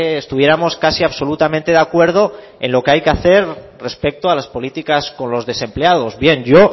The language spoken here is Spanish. estuviéramos casi absolutamente de acuerdo en lo que hay que hacer respecto a las políticas con los desempleados bien yo